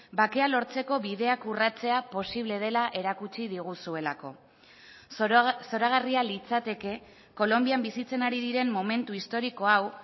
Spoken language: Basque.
bakea lortzeko bideak urratzea posible dela erakutsi diguzuelako zoragarria litzateke kolonbian bizitzen ari diren momentu historiko hau